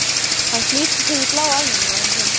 Hann flýtir sér í bláa æfingagallann sinn.